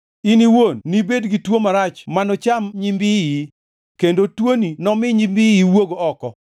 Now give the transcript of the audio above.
In iwuon nibed gi tuo marach manocham nyimbiyi, kendo tuoni nomi nyimbiyi wuog oko.’ ”